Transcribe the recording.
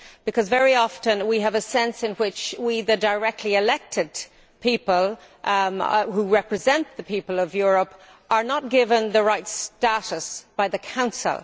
Because very often we have a sense in which we, the directly elected people who represent the people of Europe, are not given the right status by the Council.